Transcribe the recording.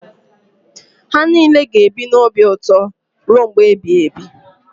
Ha niile ga-ebi n’obi ụtọ ruo mgbe ebighị ebi.